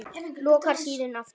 Lokar síðan aftur.